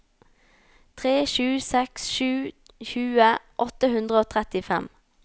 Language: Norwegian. tre sju seks sju tjue åtte hundre og trettifem